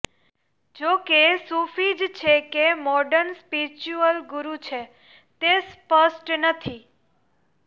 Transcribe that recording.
જોકે સૂફી જ છે કે મોર્ડન સ્પિરિચ્યુઅલ ગુરુ છે તે સ્પષ્ટ નથી